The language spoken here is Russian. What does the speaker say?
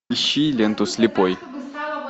ищи ленту слепой